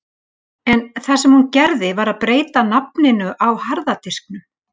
En það sem hún gerði var að breyta nafninu á harða disknum.